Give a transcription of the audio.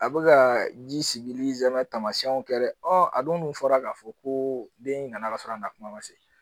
A bɛ ka ji sigi tamasiɲɛw kɛ dɛ a dun dun fɔra k'a fɔ ko den in nana ka sɔrɔ a na kuma ma se